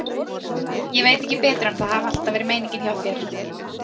Ég veit ekki betur en að það hafi alltaf verið meiningin hjá þér.